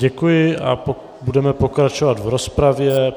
Děkuji a budeme pokračovat v rozpravě.